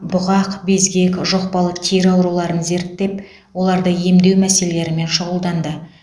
бұғақ безгек жұқпалы тері ауруларын зерттеп оларды емдеу мәселелерімен шұғылданды